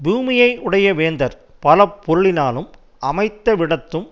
பூமியையுடைய வேந்தர் பல பொருளினாலும் அமைந்த விடத்தும்